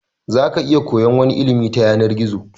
Zaka iya koyan wani ilimi ta yanar gizo